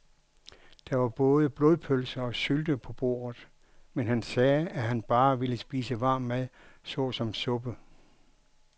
Der var både blodpølse og sylte på bordet, men han sagde, at han bare ville spise varm mad såsom suppe.